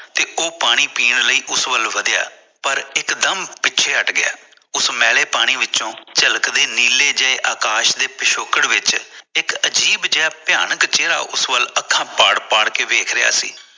ਤੇ ਉਹ ਪਾਣੀ ਪੀਣ ਲਈ ਉਸ ਵੱਲ ਵਧੀਆ ਪਰ ਇਕ ਦਮ ਪਿੱਛੇ ਹਟ ਗਿਆ ਉਸ ਮੈਲੇ ਪਾਣੀ ਵਿੱਚੋ ਝਲਕਦੇ ਨੀਲੇ ਜਿਹੇ ਅਕਾਸ਼ ਦੇ ਪਿਛੋਕੜ ਵਿੱਚ ਇਕ ਅਜ਼ੀਬ ਜਿਹਾ ਭਿਆਨਕ ਚੇਹਰਾ ਉਸ ਵੱਲ ਅੱਖਾਂ ਪਾੜ ਪਾੜ ਵੇਖ ਰਿਹਾ ਸੀ